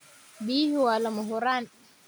Biyuhu waa lama huraan.